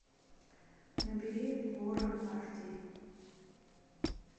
набери ворон аш ди